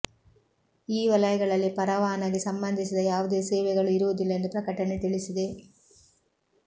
ಈ ವಲಯಗಳಲ್ಲಿ ಪರವಾನಗಿ ಸಂಬಂಧಿಸಿದ ಯಾವುದೇ ಸೇವೆಗಳು ಇರುವುದಿಲ್ಲ ಎಂದು ಪ್ರಕಟಣೆ ತಿಳಿಸಿದೆ